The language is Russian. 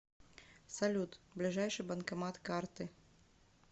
салют ближайший банкомат карты